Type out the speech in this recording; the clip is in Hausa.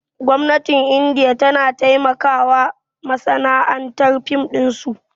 Gwamnatin indiya tana taimakawa masana'antar fim ɗinsu